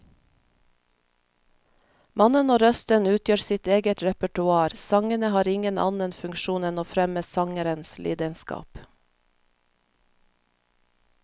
Mannen og røsten utgjør sitt eget repertoar, sangene har ingen annen funksjon enn å fremme sangerens lidenskap.